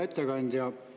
Hea ettekandja!